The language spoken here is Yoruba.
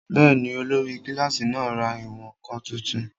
Bẹ́ẹ̀ni, olórí kílásì náà ra ìwọ̀n-ǹkan tuntun